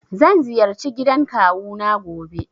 Zan ziyarci gidan kawu na gobe.